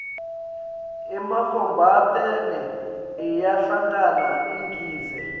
ematfombatane ayahlangana agidze